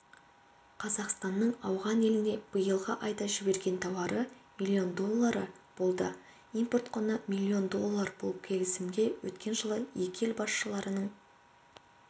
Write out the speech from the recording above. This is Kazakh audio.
қазақстанның ауған еліне биылғы айда жіберген тауары миллион доллары болды импорт құны миллион доллар бұл келісімге өткен жылы екі ел басшыларының